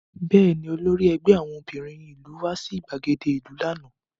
Bẹ́ẹ̀ni, olórí ẹgbẹ́ àwọn obìnrin ìlú wá sí ìgbàgede ìlú lánàá